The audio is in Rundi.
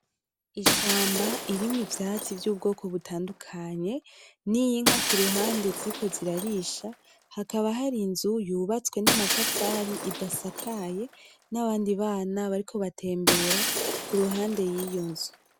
Ishamba irimwo ivyatsi vy'ubwoko butandukanye n'inka kuruhande ziriko zirarisha hakaba hari inzu yubatswe namatafari idasakaye nabandi bana bariko batembera kuruhande yiyo nzu.